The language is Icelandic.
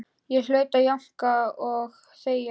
Ég hlaut að jánka og þegja.